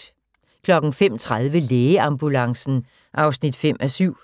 05:30: Lægeambulancen (5:7)